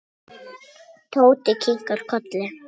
Tóti kinkaði kolli.